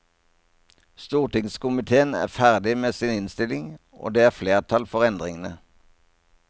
Stortingskomitéen er ferdig med sin innstilling, og det er flertall for endringene.